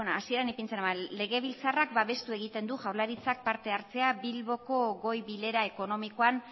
hasiera ipintzen nuen legebiltzarrak babestu egiten du jaurlaritzak partehartzea bilboko goi bilera ekonomikoan